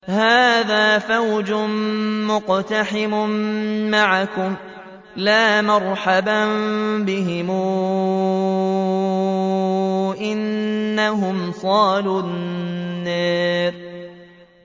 هَٰذَا فَوْجٌ مُّقْتَحِمٌ مَّعَكُمْ ۖ لَا مَرْحَبًا بِهِمْ ۚ إِنَّهُمْ صَالُو النَّارِ